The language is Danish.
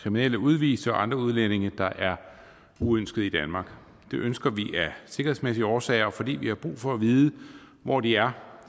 kriminelle udviste og andre udlændinge der er uønsket i danmark det ønsker vi af sikkerhedsmæssige årsager og fordi vi har brug for at vide hvor de er